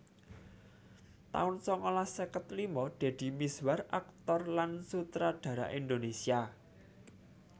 taun sangalas seket lima Deddy Mizwar aktor lan sutradara Indonésia